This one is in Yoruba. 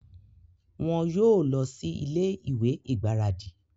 Wọn yóò lọ sí ilé-ìwé igbaradi